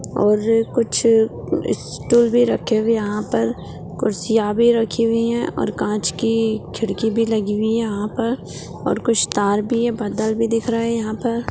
और कुछ स्टूल भी रखे हुए यहाँ पर कुर्सियां भी रखी हुई है और कांच की खिड़की भी लगी हुई है यहाँ पर और कुछ तार भी है बादल भी दिख रहा है यहाँ पर।